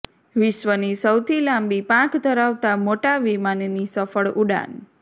વિશ્વની સૌથી લાંબી પાંખ ધરાવતા મોટા વિમાનની સફળ ઉડાન